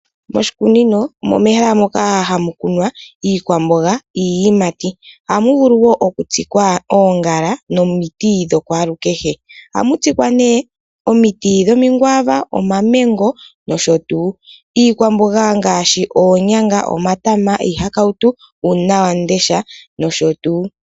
Moshikunino omo mehala moka hamu kunwa iikwamboga niiyimati, ohamu vulu wo okutsikwa oongala nomiti dha kwalukehe. Ohamu tsikwa ne omiti dhomikwava, omamengo nosho tuu. Iikwamboga ngaashi oonyanga, omatama, iihakautu, uunawamundesha nosho tuu.